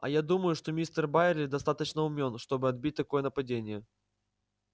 а я думаю что мистер байерли достаточно умён чтобы отбить такое нападение